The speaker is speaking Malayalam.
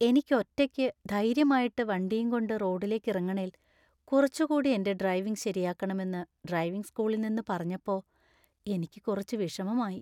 എനിക്ക് ഒറ്റയ്ക്ക് ധൈര്യമായിട്ട് വണ്ടിയും കൊണ്ട് റോഡിലേക്കിറങ്ങണേൽ കുറച്ച് കൂടി എന്‍റെ ഡ്രൈവിംഗ് ശരിയാക്കണമെന്ന് ഡ്രൈവിംഗ് സ്കൂളിൽ നിന്ന് പറഞ്ഞപ്പോ എനിക്ക് കുറച്ച് വിഷമമായി.